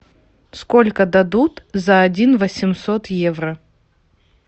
сколько дадут за один восемьсот евро